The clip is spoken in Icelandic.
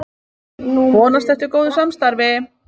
Vonast eftir góðu samstarfi